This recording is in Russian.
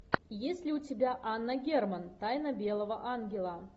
есть ли у тебя анна герман тайна белого ангела